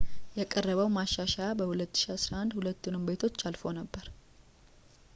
የቀረበው ማሻሻያ በ2011 ሁለቱንም ቤቶች አልፎ ነበር